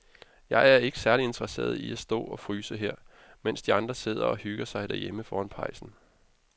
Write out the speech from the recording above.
Jeg er ikke særlig interesseret i at stå og fryse her, mens de andre sidder og hygger sig derhjemme foran pejsen.